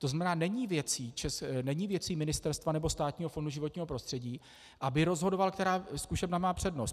To znamená, není věcí ministerstva nebo Státního fondu životního prostředí, aby rozhodovaly, která zkušebna má přednost.